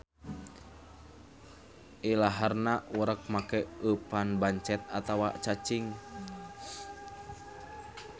Ilaharna urek make eupan bancet atawa cacing.